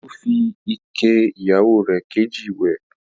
Olú fi ike ìyàwó rẹ̀ kejì wẹ̀.